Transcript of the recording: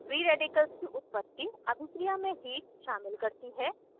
free radicals की उत्पत्ति अभिक्रिया में heat heat शामिल करती है